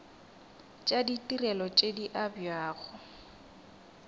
tša ditirelo tše di abjago